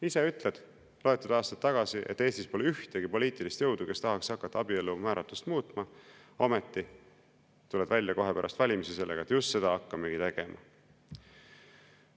Ise ütled, mõni aasta tagasi, et Eestis pole ühtegi poliitilist jõudu, kes tahaks hakata abielu määratlust muutma, ometi tuled välja kohe pärast valimisi sellega, et just seda hakkamegi tegema.